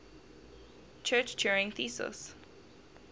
church turing thesis